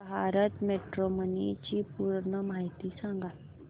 Bharat matrimony ची पूर्ण माहिती सांगा